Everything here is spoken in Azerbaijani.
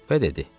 Və dedi: